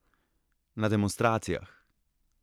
Na demonstracijah!